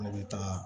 An bɛ taga